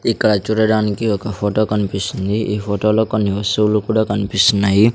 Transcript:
ఇక్కడ చూడడానికి ఒక ఫొటో కన్పిస్తుంది ఈ ఫొటో లో కొన్ని వస్తువులు కూడా కన్పిస్తున్నాయి.